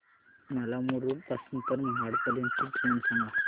मला मुरुड पासून तर महाड पर्यंत ची ट्रेन सांगा